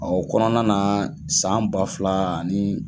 O kɔnɔna na san ba fila ani